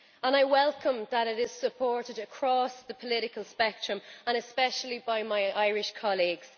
I welcome that it is supported across the political spectrum, and especially by my Irish colleagues.